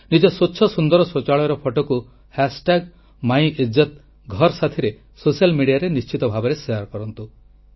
ନିଜର ସ୍ୱଚ୍ଛ ସୁନ୍ଦର ଶୌଚାଳୟର ଫଟୋକୁ ମାଇ ଇଜ୍ଜତ ଘର ଜରିଆରେ ସୋସିଆଲ୍ ମିଡ଼ିଆରେ ନିଶ୍ଚିତ ଭାବେ ଶେୟାର କରନ୍ତୁ